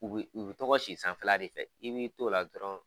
U bi, u bi tɔ ka si sanfɛla de fɛ. I b'i t'o la dɔrɔn